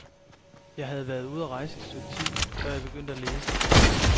Jeg havde været ude at rejse i et stykke tid, før jeg begyndte at læse.